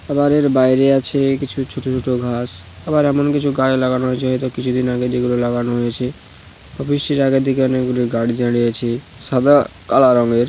আবার এর বাইরে আছে কিছু ছোট ছোট ঘাস আবার এমন কিছু গাছ লাগানো হয়েছে কিছুদিন আগে যেগুলো লাগানো হয়েছে অফিস -এর আগের দিকে অনেকগুলো গাড়ি দাঁড়িয়ে আছে সাদা কালা রঙের।